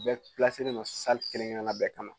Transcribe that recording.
U bɛɛ don kelen-kelenna bɛɛ kɔnɔ